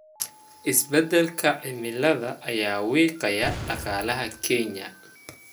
Isbeddelka cimilada ayaa wiiqaya dhaqaalaha Kenya.